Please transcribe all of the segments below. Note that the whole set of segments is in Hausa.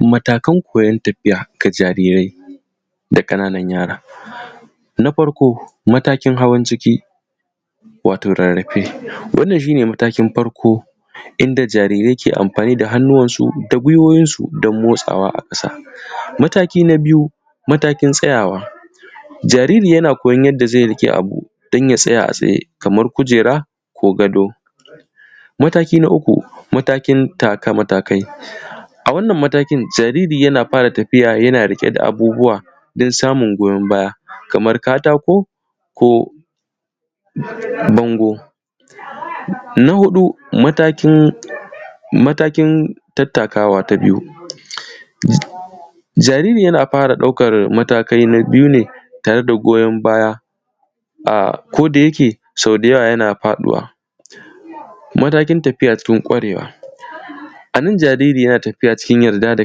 Matakin farko na ciki wato rarrfe. Wannan shi ne matakin farko inda jarirai ke amfani da hannuwansu, da gwiwwowinsu don motsawa a ƙasa. Mataki na biyu: matakin tsayawa jariri yana koyon yadda zai riƙa abu domin ya tsaya a tsaye, kamar kujera ko gado. Mataki na uku: Matakin taka matakai, a wannan matakin jariri yana fara tafiya yana riƙe da abubuwa don samun goyon baya. Na huɗu, matakin tattakawa ta biyu: Jariri yana fara ɗaukar mataki na biyu tare da goyon baya, ko da yake sau da yawa yana faɗuwa. Matakin tafiya cikin ƙwarewa: A nan jariri yana tafiya cikin yarda da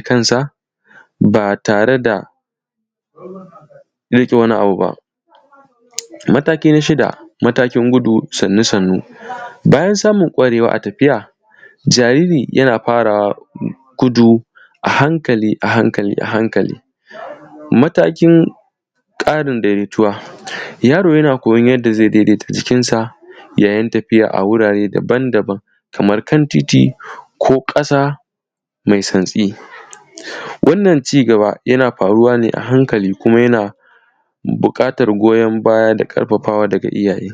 kansa, ba tare da riƙe wani abu ba. Mataki na shida: Matakin gudu sannu-sannu, bayan samun ƙwarewa a tafiya. Jariri yana fara gudu a hankali-a hamkali. Matakin ƙarin daidaituwa: Yaro yana koyon yadda zai daidaita jikinsa da yin tafiya a wurare daba-daban, kamar kan titi ko ƙasa mai santsi. Wannan cigaba yana faruwa ne a hankali, kuma yana buƙatar goyon baya, da ƙarfafawa daga iyaye.